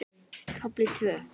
KAFLI TVÖ